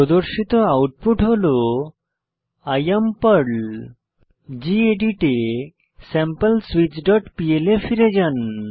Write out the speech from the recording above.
প্রদর্শিত আউটপুট হল I am Perl gedit এ স্যাম্পলস্বিচ ডট পিএল এ ফিরে যান